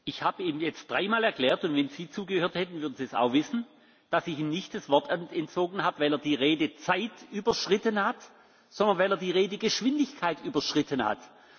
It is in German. Ich habe ihm jetzt dreimal erklärt und wenn Sie zugehört hätten, dann würden Sie es auch wissen dass ich ihm nicht das Wort entzogen habe, weil er die Redezeit überschritten hat, sondern weil er die Redegeschwindigkeit überschritten hat.